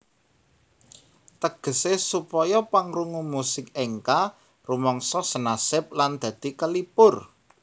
Tegese supaya pangrungu musik enka rumangsa senasib lan dadi kalipur